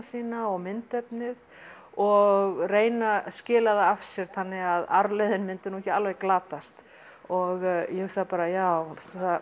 sína og myndefnið og reyna að skila því af sér þannig að arfleiðin myndi ekki alveg glatast og ég hugsaði bara já